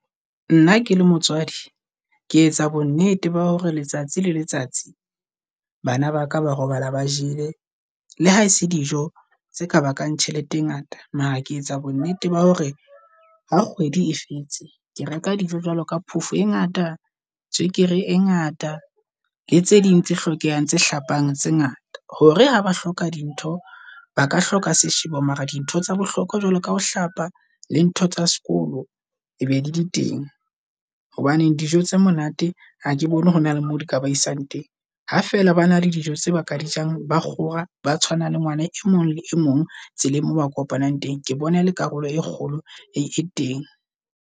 Nna ke le motswadi, ke etsa bo nnete ba hore letsatsi le letsatsi bana ba ka ba robala ba jele le ha se dijo tse ka bakang tjhelete e ngata. Mara je etsa bo nnete ba hore ha kgwedi e fetse, ke reka dijo jwalo ka phofo e ngata, tswekere e ngata le tse ding tse hlokehang tse hlapang tse ngata. Hore ha ba hloka di ntho, ba ka hloka seshebi mara dintho tsa bohlokwa jwalo ka ho hlapa le ntho tsa sekolo e be le di teng. Hobaneng dijo tse monate ha ke bone hore na le mo di ka ba isang teng ha fela ba na le dijo tse ba ka di jang. Ba kgora ba tshwanang le ngwana e mong le mong tseleng moo ba kopanang teng ke bone le karolo e kgolo e teng.